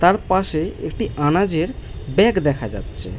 তার পাশে একটি আনাজ এর ব্যাগ দেখা যাচ্ছে-এ।